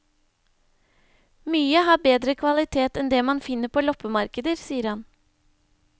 Mye har bedre kvalitet enn det man finner på loppemarkeder, sier han.